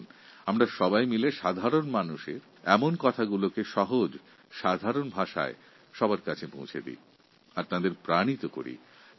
আসুন আমরা সবাই মিলে সাধারণ মানুষের মঙ্গল ও প্রাপ্য অধিকারের কথা সাধারণ ভাষায় পৌঁছে দিয়ে তাঁদেরকে উৎসাহিত করি